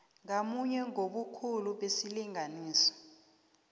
ngamunye ngobukhulu besilinganiso